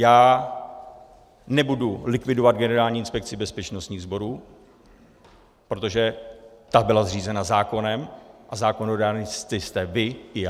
Já nebudu likvidovat Generální inspekci bezpečnostních sborů, protože ta byla zřízena zákonem a zákonodárci jste vy i já.